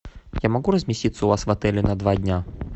я могу разместиться у вас в отеле на два дня